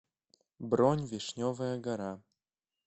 бронь вишневая гора